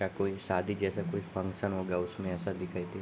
या कोई शादी जैसा कोई फंक्शन हो गया उसमें ऐसा दिखाई दे --